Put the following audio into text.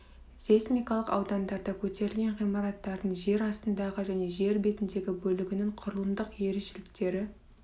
сейсмикалық аудандарда көтерілген ғимараттардың жер астындағы және жер бетіндегі бөлігінің құрылымдық ерекшеліктері